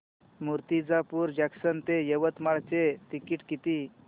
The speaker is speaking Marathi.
मूर्तिजापूर जंक्शन ते यवतमाळ चे तिकीट किती